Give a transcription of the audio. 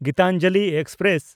Gitanjali express